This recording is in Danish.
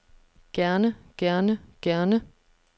gerne gerne gerne